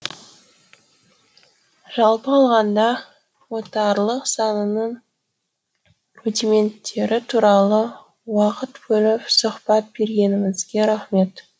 жалпы алғанда отарлық сананың рудименттері туралы уақыт бөліп сұхбат бергеніңізге рақмет